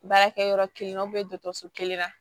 Baarakɛyɔrɔ kelen na dɔtɔrɔso kelen na